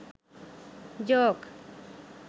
joke